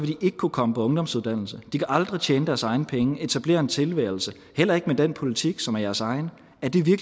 de ikke kunne komme på ungdomsuddannelse de kan aldrig tjene deres egne penge etablere en tilværelse heller ikke med den politik som er jeres egen